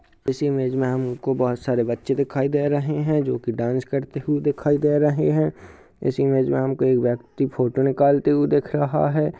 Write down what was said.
इसी इमेज में हमको बहोत सारे बच्चे दिखाई दे रहे हैं । जो की डांस करते हुए दिखाई दे रहे हैं । इस इमेज में हमको एक व्यक्ति फोटो निकालते हुआ दिखाई दे रहा है ।